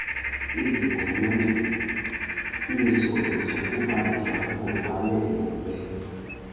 izigunyanyiso zokubanjwa kuvalelwe